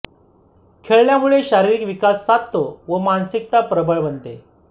खेळल्यामुळे शारीरिक विकास साधतो व मानसिकता प्रबळ बनते